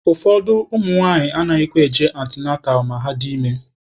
Ụfọdụ ụmụnwaanyị anaghịkwa eje antịnantal ma ha dị ime.